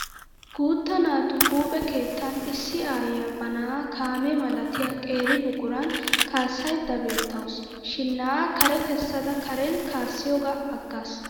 Guutta naatu huuphe kettan issi aayyiya ba na'aa kaamee malatiya qeeri buquran. Kaassayidda beettawusu. Shinna'aa kare kessada Karen kaassiyoogaa aggaas.